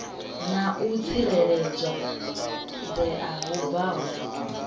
na u tsireledzea hu bvaho